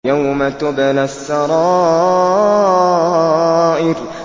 يَوْمَ تُبْلَى السَّرَائِرُ